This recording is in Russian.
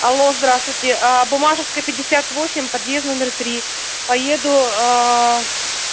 алло здравствуйте а буммашевская пятьдесят восемь подъезд номер три поеду